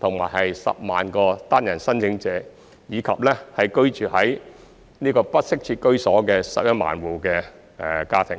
10萬個單身申請者，以及居於不適切居所的11萬戶家庭。